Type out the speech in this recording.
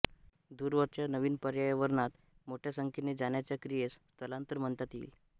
दूरवरच्या नवीन पर्यावरणात मोठ्या संख्येने जाण्याच्या क्रियेस स्थलांतर म्हणता येईल